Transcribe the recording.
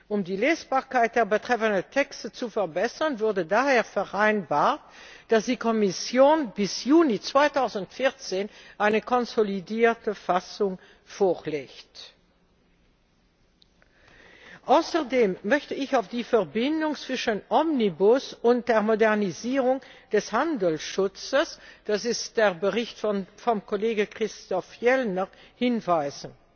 Um die Lesbarkeit der betreffenden Text zu verbessern, wurde daher vereinbart, dass die Kommission bis Juni 2014 eine konsolidierte Fassung vorlegt. Außerdem möchte ich auf die Verbindung zwischen Omnibus und der Modernisierung des Handelsschutzes das ist der Bericht des Kollegen Christoph Fjellner hinweisen.